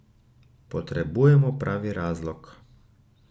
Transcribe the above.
Potrebujemo pravi razlog.